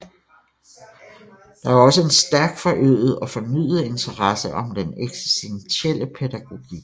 Der er også en stærkt forøget og fornyet interesse om den eksistentielle pædagogik